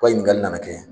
Ko ɲininkali nana kɛ